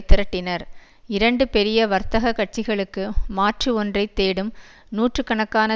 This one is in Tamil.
திரட்டினர் இரண்டு பெரிய வர்த்தக கட்சிகளுக்கு மாற்று ஒன்றை தேடும் நூற்று கணக்கான